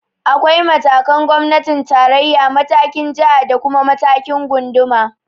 Akwai matakin gwamnatin tarayya, matakin jiha da kuma matakin gunduma.